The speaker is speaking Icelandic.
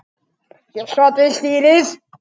Ég sat við stýrið.